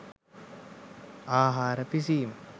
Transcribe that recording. ආහාර පිසීම